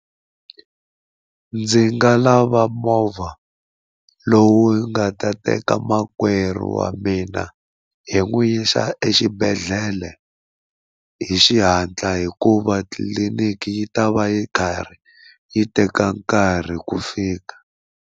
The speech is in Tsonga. Ndzi nga lava movha lowu nga ta teka makwerhu wa mina hi n'wi yisa exibedhlele hi xihatla hikuva tliliniki yi ta va yi karhi yi teka nkarhi ku fika.